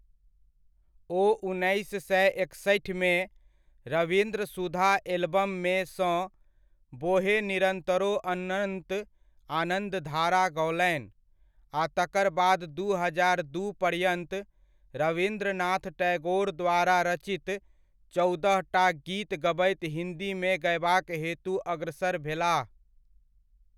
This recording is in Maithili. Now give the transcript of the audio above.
ओ उन्नैस सए एकसठिमे, रवीन्द्र सुधा एलबममे सँ 'बोहे निरन्तरो अनन्त आनन्दधारा' गओलनि आ तकरबाद दू हजार दू पर्यन्त रवीन्द्रनाथ टैगोर द्वारा रचित चौदहटा गीत गबैत हिन्दी मे गयबाक हेतु अग्रसर भेलाह।